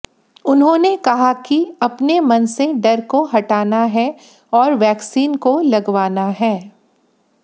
उन्होंने कहा कि अपने मन से डर को हटाना है और वैक्सीन को लगवाना है